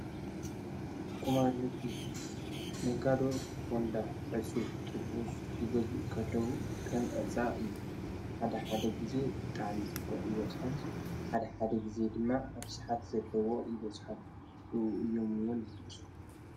ቁማርንግዲ ነጋዶ ቦንዳ ዕፁ ጥቡዝ ይገዝሉ ኸለዉ ኸም ዕፃ እዩ ሓደ ሓደ ጊዜ ብጥዓሚ ዘቦቕ ይበጽሖም ሓደ ሓደ ጊዜ ድማ ርስሓት ዘለዎ ይበጽሖም ሉ እዮምውን ዝጐስዱ::